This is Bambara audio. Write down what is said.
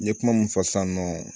N ye kuma mun fɔ sisan nɔ